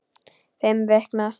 Fimm vikna.